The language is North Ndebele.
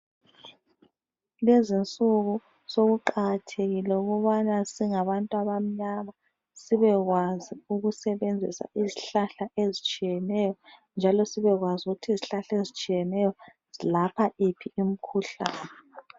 Lezi nsuku sokuqakathekile ukubana singabantu abamnyama sibe kwazi ukusebenzisa izihlahla ezitshiyeneyo njalo sibekwazi ukuthi izihlahla ezitshiyeneyo zilapha iphi imikhuhlane.